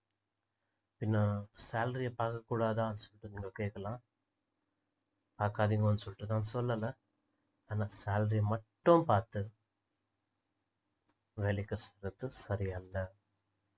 அப்படின்னா salary அ பார்க்கக்கூடாதான்னு சொல்லிட்டு நீங்க கேக்கலாம் பாக்காதீங்கன்னு சொல்லிட்டு நான் சொல்லல ஆனா salary அ மட்டும் பார்த்து வேலைக்கு சேர்றது சரியல்ல